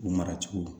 U mara cogo